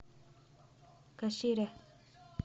кашире